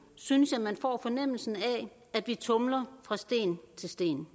synes jeg man får fornemmelsen af at vi tumler fra sten til sten